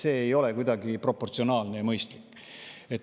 See ei ole kuidagi proportsionaalne ja mõistlik.